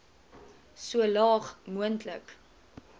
so laag moontlik